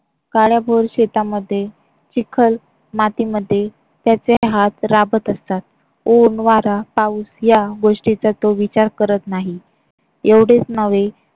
काळ्याभोर शेतामध्ये चिखल मातीमध्ये त्याचे हात राबत असतात. ऊन वारा पाऊस या गोष्टीचा तो विचार करत नाही एवढेच नव्हे